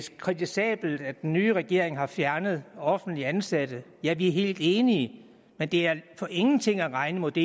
kritisabelt at den nye regering har fjernet offentligt ansatte ja vi er helt enige men det er for ingenting at regne mod det